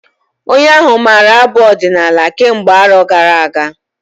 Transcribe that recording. Onye ahụ maara abụ ọdinala kemgbe arọ gara-aga.